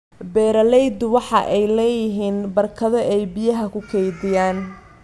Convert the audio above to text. Beeraleydu waxa ay la� yihiin barkado ay biyaha ku kaydiyaan.